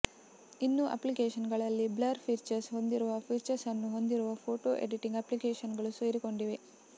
ಇನ್ನು ಆಪ್ಲಿಕೇಶನ್ಗಳಲ್ಲಿ blur features ಹೊಂದಿರುವ ಫೀಚರ್ಸ್ಅನ್ನು ಹೊಂದಿರುವ ಫೋಟೋ ಎಡಿಟಿಂಗ್ ಅಪ್ಲಿಕೇಶನ್ಗಳು ಸೇರಿಕೊಂಡಿವೆ